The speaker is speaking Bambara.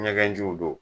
Ɲɛgɛn jiw don